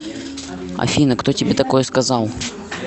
афина кто тебе такое сказал